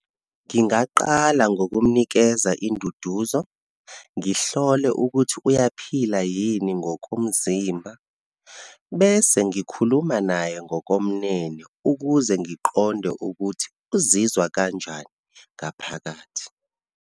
Ngingaqala ngokumnikeza induduzo, ngihlole ukuthi uyaphila yini ngokomzimba, bese ngikhuluma naye ngokomnene ukuze ngiqonde ukuthi uzizwa kanjani ngaphakathi.